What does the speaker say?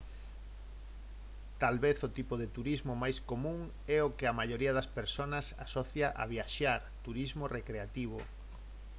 tal vez o tipo de turismo máis común é o que a maioría das persoas asocia a viaxar turismo recreativo